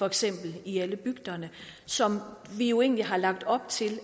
eksempel i alle bygderne som vi jo egentlig har lagt op til